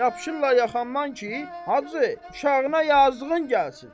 Yapışırlar yaxamdan ki, hacı, uşağına yazığın gəlsin.